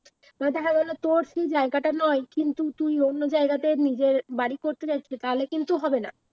তারপর দেখা গেলো তোর সেই জায়গাটা নয় কিন্তু তুই অন্য জায়গাতে নিজের বাড়ি করতে চাইছিস তাহলে কিন্তু হবে না